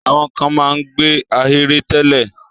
Àwọn kan máa ń gbé ahèré tẹ́lẹ̀.